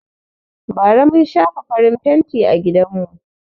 Bara mun shafa farin fenti a gidanmu.